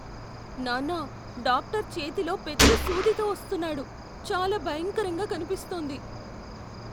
నాన్నా, డాక్టర్ చేతిలో పెద్ద సూదితో వస్తున్నాడు. చాలా భయంకరంగా కనిపిస్తోంది.